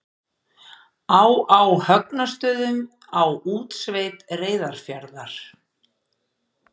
á á högnastöðum á útsveit reyðarfjarðar